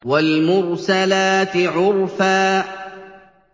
وَالْمُرْسَلَاتِ عُرْفًا